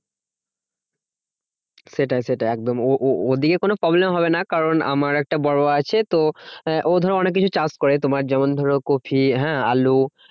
সেটাই সেটাই একদম ও ও ওদিকে কোনো problem হবে না। কারণ আমার একটা আছে তো ও ধরো অনেককিছু চাষ করে। তোমার যেমন ধরো কপি হ্যাঁ আলু